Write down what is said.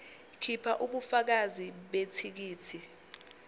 khipha ubufakazi bethikithi